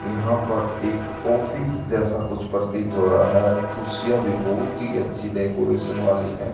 यहां पर एक ऑफिस जैसा कुछ प्रतीत हो रहा है कुर्सियां भी बहुत अच्छी डेकोरेशन वाली है।